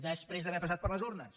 després d’haver passat per les urnes